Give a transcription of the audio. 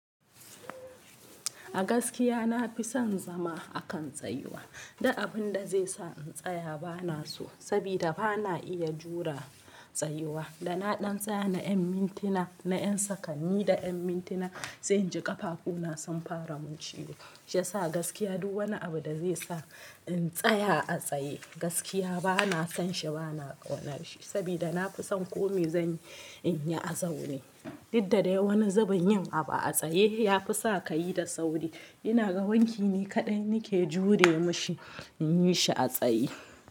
A gaskiya na fi son zama a kan tsayuwa. Duk abun da zai sa in tsaya ba na so, saboda ba na iya jure tsayuwa. Da na ɗan tsaya na yan mintina, na yan sakanni da yan mintina zai ji ƙafafu na sun fara mun ciwo. Shiyasa gaskiya duk wani abu da zai sa in tsaya a tsaye gaskiya ba na son shi, ba na ƙaunar shi. Saboda na fi son kome zan yi, in yi a zaune. Duk da dai wani zubin yin abu a tsaye ya fi sa kayi da sauri. Ina ga wanki ni kaɗai nake jure mashi in yi shi a tsaye.